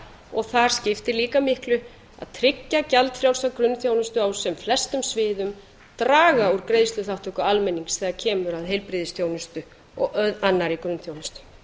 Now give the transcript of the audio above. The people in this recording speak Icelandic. og þar skiptir líka miklu að tryggja gjald á grunnþjónustu á sem flestum sviðum draga úr greiðsluþátttöku almennings þegar kemur að heilbrigðisþjónustu og annarri grunnþjónustu